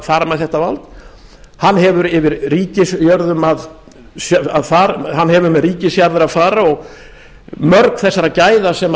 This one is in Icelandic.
fara með þetta vald hann hefur með ríkisjarðir að fara og mörg þessara gæða sem